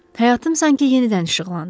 Həyatım sanki yenidən işıqlandı.